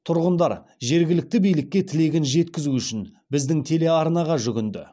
тұрғындар жергілікті билікке тілегін жеткізу үшін біздің телеарнаға жүгінді